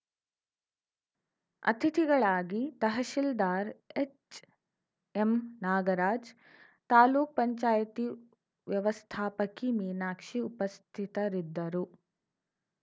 ಅತಿಥಿಗಳಾಗಿ ತಹಶಿಲ್ದಾರ್‌ ಎಚ್‌ಎಂ ನಾಗರಾಜ್‌ ತಾಲೂಕ್ ಪಂಚಾಯಿತಿ ವ್ಯವಸ್ಥಾಪಕಿ ಮೀನಾಕ್ಷಿ ಉಪಸ್ಥಿತರಿದ್ದರು